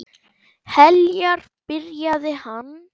Heljar, byrjaði hann.